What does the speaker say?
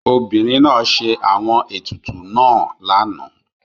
Obìrín náà sẹ́ àwọn ètùtù náà lànà.